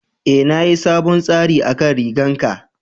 E, na yi sabon tsari akan rigan ka.